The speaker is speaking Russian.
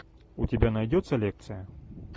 у тебя найдется лекция